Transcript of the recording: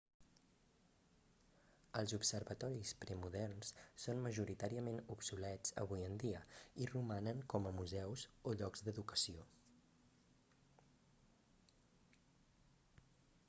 els observatoris premoderns són majoritàriament obsolets avui en dia i romanen com a museus o llocs d'educació